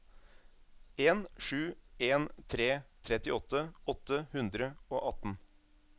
en sju en tre trettiåtte åtte hundre og atten